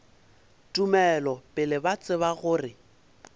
tumelo pele ba tseba gore